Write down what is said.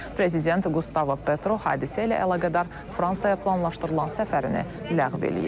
Prezident Qustavo Petro hadisə ilə əlaqədar Fransaya planlaşdırılan səfərini ləğv eləyib.